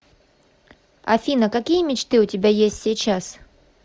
афина какие мечты у тебя есть сейчас